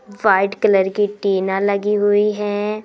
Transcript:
White colour की टीना लगी हुई है।